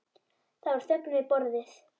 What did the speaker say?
Það var þögn við borðið.